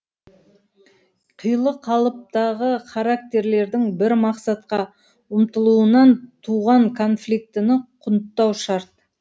қилы қалыптағы характерлердің бір мақсатқа ұмтылуынан туған конфликтіні құнттау шарт